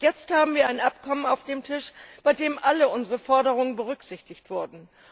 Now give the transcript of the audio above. Jetzt haben wir ein Abkommen auf dem Tisch, bei dem alle unsere Forderungen berücksichtigt wurden.